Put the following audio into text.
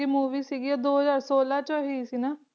Movie ਸੀਗੀ ਉਹ ਦੋ ਹਜ਼ਾਰ ਛੋਲਾਂ 'ਚ ਹੋਈ ਸੀ ਨਾ